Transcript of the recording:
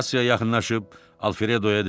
Kassaya yaxınlaşıb Alfredoya dedim: